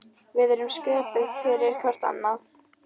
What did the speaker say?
Við erum sköpuð fyrir hvort annað.